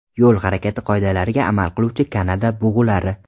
Yo‘l harakati qoidalariga amal qiluvchi Kanada bug‘ulari.